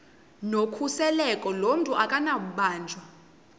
nokhuseleko lomntu akunakubanjwa